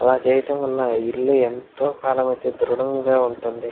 అలా చేయడం వల్ల ఇల్లు ఎంతో కాలం అయతే దృడంగా ఉంటుంది.